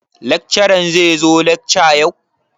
Lakcaran zai zo lakca yau?